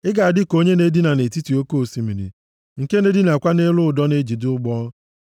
Ị ga-adị ka onye na-edina nʼetiti oke osimiri, nke na-edinakwa nʼelu ụdọ nʼejide ụgbọ.